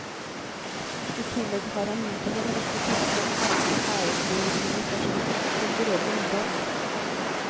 I tillegg har han mottatt en rekke tyske og franske æresbevisninger for sin kulturelle innsats.